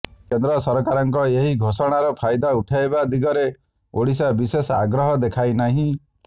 କେନ୍ଦ୍ର ସରକାରଙ୍କ ଏହି ଘୋଷଣାର ଫାଇଦା ଉଠାଇବା ଦିଗରେ ଓଡ଼ିଶା ବିଶେଷ ଆଗ୍ରହ ଦେଖାଇ ନାହିଁ